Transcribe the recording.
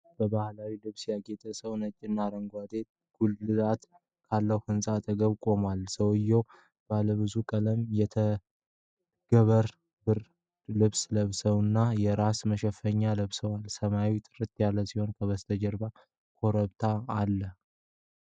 በባህላዊ ልብስ ያጌጠ ሰው ነጭና አረንጓዴ ጉልላት ካለው ህንጻ አጠገብ ቆሟል። ሰውዬው ባለብዙ ቀለም የተንገብር ብርድ ልብስና የራስ መሸፈኛ ለብሷል። ሰማዩ ጥርት ያለ ሲሆን ከበስተጀርባ ኮረብታዎች አሉ።